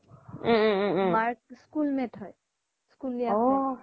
মাৰ school mate হয় স্চূলিযা